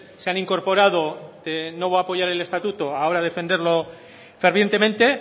se han incorporado no voy a apoyar el estatuto ahora a defenderlo fervientemente